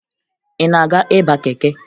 Ị na-aga ịba keke?